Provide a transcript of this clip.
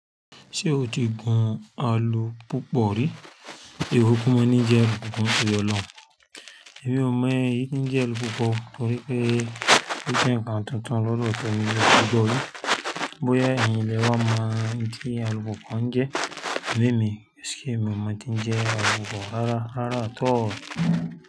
Ṣé o ti gun alu púpọ̀ rí? Ewu kò mọ ní jẹ alupùpù torí ọlọ́run. Èmi ò mọ̀ eyí to n jẹ́ alupùpù o torí pé ó jẹ́ ǹkan tuntun lọ́dọ̀ temi mi o mo lọ́dọ̀ yìn. Bóyá ẹ̀yin lé wa mọ̀ ohun tí alupùpù ouń jẹ́, amo emì, ẹ́ṣe èmi o mo ohun ti jẹ alupùpù rárá, rárá at all.